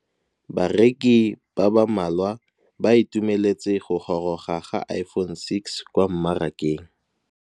Bareki ba ba malwa ba ituemeletse go gôrôga ga Iphone6 kwa mmarakeng.